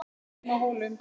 HEIMA Á HÓLUM